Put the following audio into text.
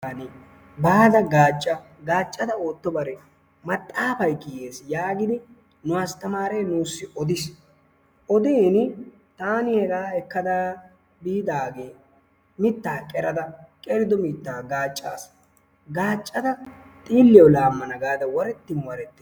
Baada gaacca gaacada ootobare maxaafay gis yaagidi nu astamaare nuusi odiis odiini taani hegaa ekada biidaage mitaa qerada qerido mitaa gaacaas. gaacada xooliyawu laamana gaada warettin warettin ...